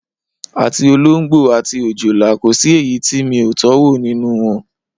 Àti olóǹgbò àti òjòlá, kò sí èyí tí mo tó̩wò nínú wo̩n.